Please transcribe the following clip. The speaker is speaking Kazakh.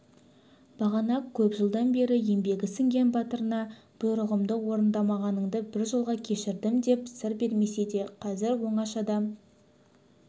бағана көп жылдан бері еңбегі сіңген батырына бұйрығымды орындамағаныңды бір жолға кешірдім деп сыр бермесе де қазір оңашада